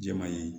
Jɛman ye